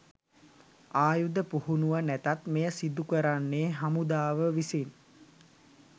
ආයුධ පුහුණව නැතත් මෙය සිදු කරන්නේ හමුදාව විසින්.